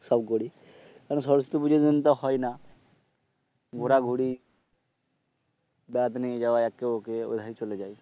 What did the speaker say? সব করি কারণ সরস্বতী পূজার দিন তো হয় না ঘোরাঘুরি বেড়াতে নিয়ে যাওয়া একে ওকে এইভাবে চলে যায়